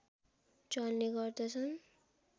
चल्ने गर्दछन्